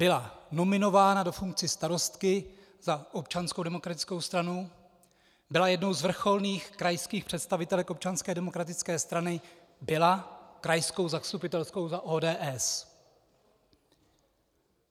Byla nominována do funkce starostky za Občanskou demokratickou stranu, byla jednou z vrcholných krajských představitelek Občanské demokratické strany, byla krajskou zastupitelkou za ODS.